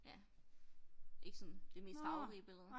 Ja ikke sådan det mest farverige billede